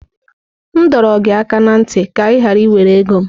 M dọrọ gị aka ná ntị ka ị ghara iwere ego m!